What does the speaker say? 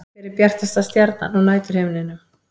Hver er bjartasta stjarnan á næturhimninum?